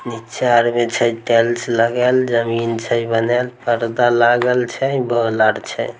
नीचा आर में छै टाइल्स लगाल जमीन छै बनाल पर्दा लागल छै बॉल आर छै।